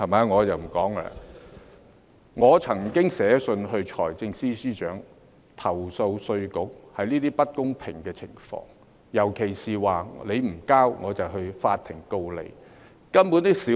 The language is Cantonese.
我曾經致函財政司司長，投訴稅務局這些不公平的情況，尤其是如果當事人不繳付，稅務局便訴諸法庭。